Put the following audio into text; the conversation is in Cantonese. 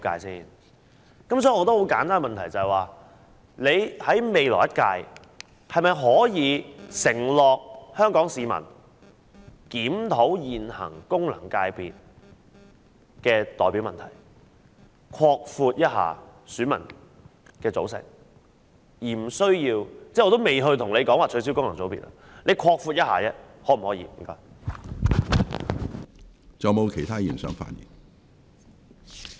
所以，我有一個很簡單的問題，就是在未來一屆，政府可否向香港市民承諾會檢討現行功能界別的代表問題，擴闊選民的組成，我也不說取消功能界別了，只是問可否擴闊選民的組成？